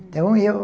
Então eu...